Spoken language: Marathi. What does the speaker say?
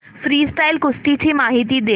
फ्रीस्टाईल कुस्ती ची माहिती दे